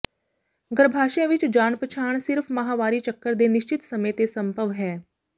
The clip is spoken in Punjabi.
ਗਰੱਭਾਸ਼ਯ ਵਿੱਚ ਜਾਣ ਪਛਾਣ ਸਿਰਫ ਮਾਹਵਾਰੀ ਚੱਕਰ ਦੇ ਨਿਸ਼ਚਿਤ ਸਮੇਂ ਤੇ ਸੰਭਵ ਹੈ